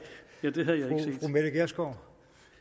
når det står